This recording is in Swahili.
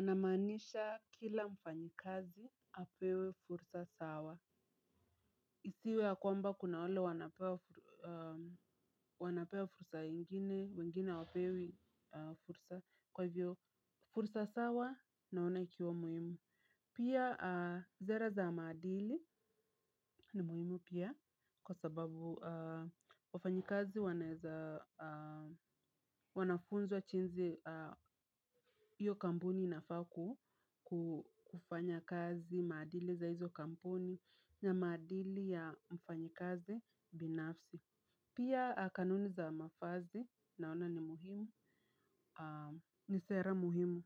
Namanisha kila mfanyikazi apewe fursa sawa. Isiwe ya kwamba kuna wale wanapewa fursa ingine, wengine hawapewi fursa, kwa hivyo fursa sawa naona ikiwa muhimu. Pia sera za maadili ni muhimu pia kwa sababu wafanyikazi wanafunzwa jinsi hiyo kampuni inafaa kufanya kazi, maadili za hizo kampuni na maadili ya mfanyikazi binafsi. Pia kanuni za mavazi naona ni muhimu ni sera muhimu.